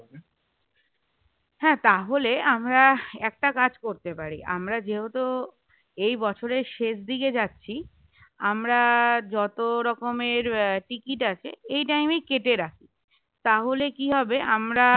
হ্যাঁ তাহলে আমরা একটা কাজ করতে পারি আমরা যেহেতু এই বছরের শেষ দিকে যাচ্ছি আমরা যত রকমের আহ ticket আছে এই time এ কেটে রাখি তাহলে কি হবে আমরা